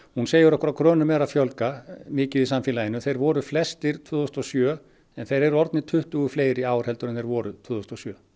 hún segir okkur að krönum er að fjölga mikið í samfélaginu þeir voru flestir tvö þúsund og sjö en þeir eru orðnir tuttugu fleiri í ár heldur en þeir voru tvö þúsund og sjö